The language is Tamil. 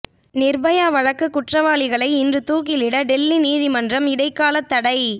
நிர்பயா வழக்கு குற்றவாளிகளை இன்று தூக்கிலிட டெல்லி நீதிமன்றம் இடைக்கால தடை